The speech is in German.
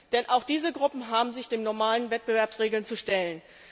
Denn auch diese Gruppen haben sich den normalen Wettbewerbsregeln zu stellen.